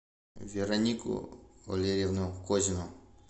веронику валерьевну козину